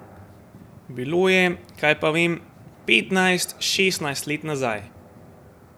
Bilo je, kaj pa vem, petnajst, šestnajst let nazaj.